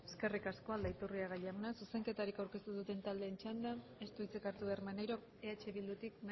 eskerrik asko eskerrik asko aldaiturriaga jauna zuzenketari aurkeztu duten taldeen txandan ez du hitzik hartu behar maneirok eh bildutik